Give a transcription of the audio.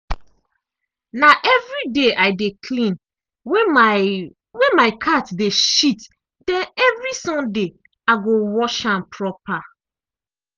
na evriday i dey clean wey my wey my cat de shit den evri sunday i go wash am proper.